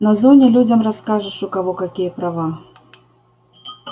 на зоне людям расскажешь у кого какие права